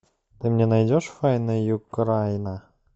ты мне найдешь файна юкрайна